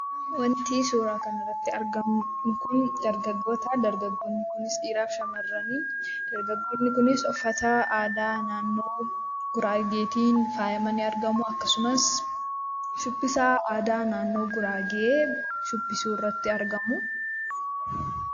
Wanti suuraa kanarratti argamu kun dargaggoota. Dargaggoonni kunis dhiiraa fi shamarrani. Dargaggoonni kunis uffata aadaa naannoo Guraageetiin faayamanii argamu. Akkasumas, shubbisa aadaa naannoo Guraagee shubbisuu irratti argamu.